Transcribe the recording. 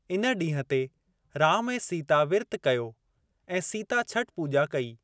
इन ॾींहुं ते राम ऐं सीता विर्त कयो ऐं सीता छठ पूॼा कई।